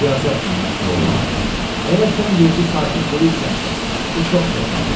Siyasətlə məşğul olmaq, əgər sən yerli sakin deyilsənsə, bu çox çətindir.